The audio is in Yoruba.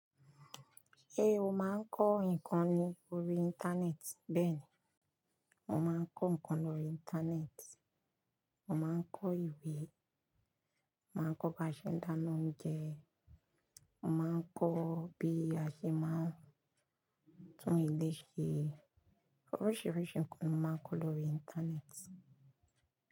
Eh, ó máa ń kọ́ nǹkan ní orí Íńtánẹ́ẹ̀tì. Bẹ́ẹ̀ni, mo máa ń kọ́ nǹkan lórí Íńtánẹ́ẹ̀tì. Mo máa ń kọ ìwé, mo máa n kọ́ bí a ṣe ń dáná oúnjẹ, mo máa ń kọ́ bí a ṣe máa ń tún ilé ṣe. Oríṣiríṣi nǹkan ni mo máa ń kọ́ lórí Íńtánẹ́ẹ̀tì.